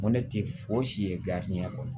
Ŋo ne te fosi ye kɔnɔ